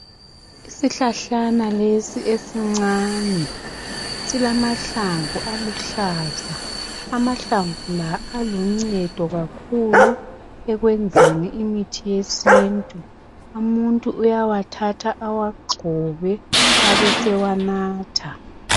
Isihlahlana lesi esincane silamahlamvu aluhlaza. Amahlamvu la aluncedo kakhulu ekwenzeni imithi yesintu. Umuntu uyawathatha awagxobe, abesewanatha.